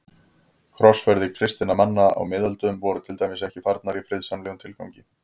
Krossferðir kristinna manna á miðöldum voru til dæmis ekki farnar í friðsamlegum tilgangi.